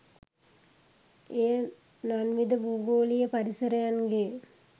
එය නන්විධ භූගෝලීය පරිසරයන්ගේ